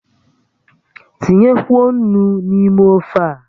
Tinyekwuo ńnú n'ime ófé a!